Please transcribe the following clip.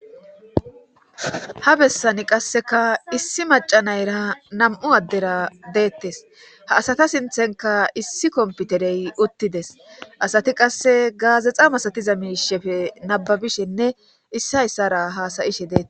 Ha bessani qasseka issi maca nayra nam7u addera deettes ha asata sinthenka issi komputerey uttides asati qasse gaazexa masatiza miishefe nababishenne issayssara hasayishe deete